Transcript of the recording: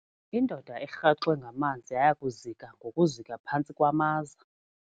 Indoda erhaxwe ngamanzi yaya kuzika ngokuzika phantsi kwamaza.